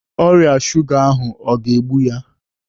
Ọrịa shuga ahụ o ga-egbu ya?